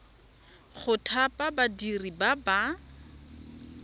go thapa badiri ba ba